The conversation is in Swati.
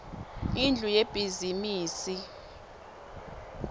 indlu yebhizimisi